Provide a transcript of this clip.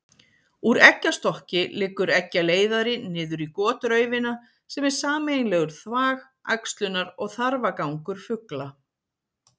Úr eggjastokki liggur eggjaleiðari niður í gotraufina sem er sameiginlegur þvag, æxlunar- og þarfagangur fugla.